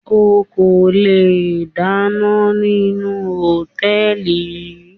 O kò le dáná nínú Hòtẹ́lìì yí.